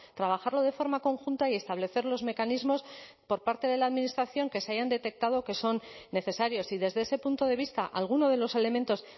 trabajarlo de forma conjunta y establecer los mecanismos por parte de la administración que se hayan detectado que son necesarios y desde ese punto de vista alguno de los elementos